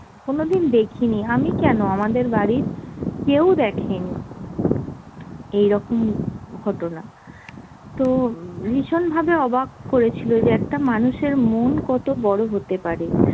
কোনোদিন দেখিনি। আমি কেন আমাদের বাড়ির কেও দেখেনি এইরকম ঘটনা। তো ভীষণ ভাবে অবাক করেছিল যে একটা মানুষের মন কত বড় হতে পারে।